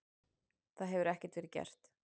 Það hefði ekki verið gert.